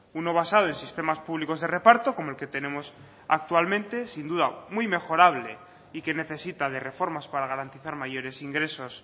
uno basado en sistemas públicos de reparto como el que tenemos actualmente sin duda muy mejorable y que necesita de reformas para garantizar mayores ingresos